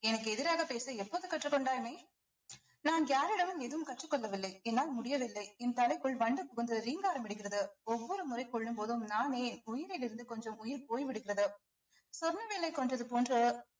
எனக்கு எதிராக பேச எப்போது கற்றுக் கொண்டாய் மெய் நான் யாரிடமும் எதுவும் கற்றுக் கொள்ளவில்லை என்னால் முடியவில்லை என் தலைக்குள் வண்டு புகுந்து ரீங்காரம் இடுகிறது ஒவ்வொரு முறை கொல்லும்போதும் நானே உயிரில் இருந்து கொஞ்சம் உயிர் போய்விடுகிறது சொர்ணவேலை கொன்றது போன்று